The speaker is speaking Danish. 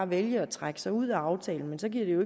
vælge at trække sig ud af aftalen men så giver det jo